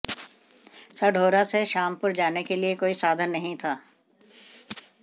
साढौरा से शामपुर जाने के लिए कोई साधन नहीं था